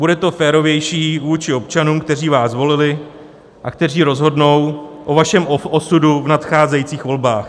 Bude to férovější vůči občanům, kteří vás zvolili a kteří rozhodnou o vašem osudu v nadcházejících volbách.